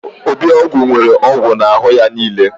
Ebiogwu nwere ogwu n'ahụ ya niile.